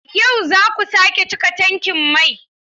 Yau za ku sake cika tankin mai?